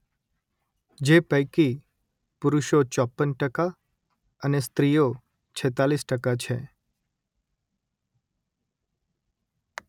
જે પૈકી પુરુષો ચોપન ટકા અને સ્ત્રીઓ છેતાલીસ ટકા છે